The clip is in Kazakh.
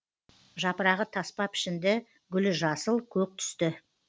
жапырағы таспа пішінді гүлі жасыл көк түсті